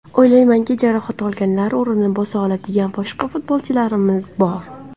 O‘ylaymanki, jarohat olganlar o‘rnini bosa oladigan boshqa futbolchilarimiz bor.